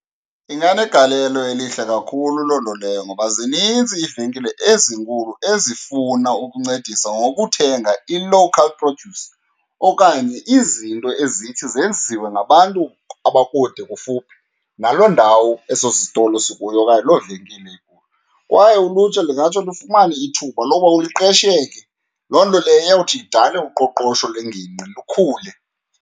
Inganegalelo elihle kakhulu loo nto leyo, ngoba zinintsi iivenkile ezinkulu ezifuna ukuncedisa ngokuthenga i-local produce okanye izinto ezithi zenziwe ngabantu abakude kufuphi naloo ndawo eso sitolo sikuyo okanye loo venkile ikuyo. Kwaye ulutsha lungatsho lufumane ithuba lokuba liqesheke, loo nto leyo iyawuthi idale uqoqosho lwengingqi lukhule.